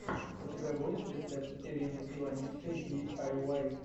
у тебя будет рецепт ирины иваницкой ди ай уай